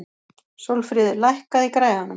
Sólfríður, lækkaðu í græjunum.